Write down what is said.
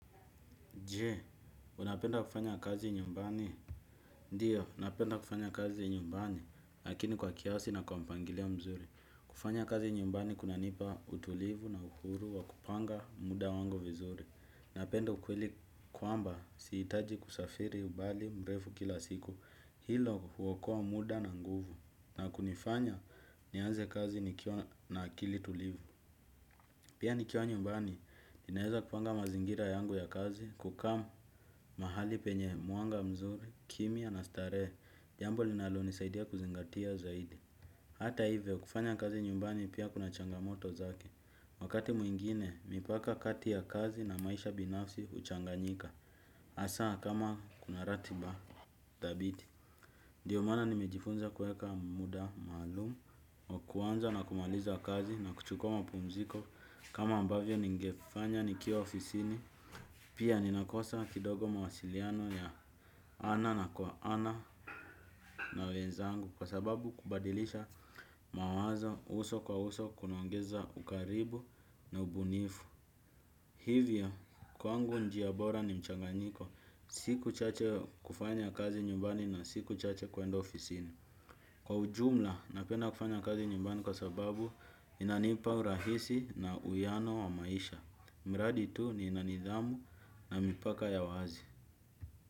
Je, unapenda kufanya kazi nyumbani? Ndiyo, napenda kufanya kazi nyumbani, lakini kwa kiasi na kwa mpangilio mzuri. Kufanya kazi nyumbani kunanipa utulivu na uhuru wa kupanga muda wangu vizuri. Napenda ukweli kwamba sihitaji kusafiri umbali mrefu kila siku. Hilo huokoa muda na nguvu. Na kunifanya, nianze kazi nikiwa na akili tulivu. Pia nikiwa nyumbani, ninaweza kupanga mazingira yangu ya kazi, kukaa mahali penye mwanga mzuri, kimya na starehe, jambo linalonisaidia kuzingatia zaidi. Hata hivyo, kufanya kazi nyumbani pia kuna changamoto zake, wakati mwingine, mipaka kati ya kazi na maisha binafsi huchanganyika, hasaa kama kuna ratiba. Thabiti, ndiyo maana nimejifunza kuweka muda maalum wa kuanza na kumaliza kazi na kuchukua mapumziko kama ambavyo ningefanya nikiwa ofisini. Pia ninakosa kidogo mawasiliano ya ana na kwa ana na wenzangu kwa sababu kubadilisha mawazo uso kwa uso kunaongeza ukaribu na ubunifu. Hivyo, kwangu njia bora ni mchanganyiko, siku chache kufanya kazi nyumbani na siku chache kwenda ofisini. Kwa ujumla, napenda kufanya kazi nyumbani kwa sababu inanipa urahisi na uwiano wa maisha. Mradi tu nina nidhamu na mipaka ya wazi.